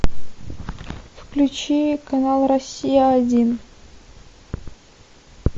включи канал россия один